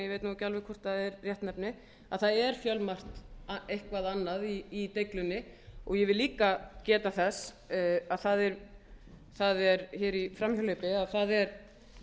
ég veit nú ekki alveg hvort það er réttnefni að það er fjölmargt eitthvað annað í deiglunni ég vil líka geta þess að það er hér í framhjáhlaupi að það er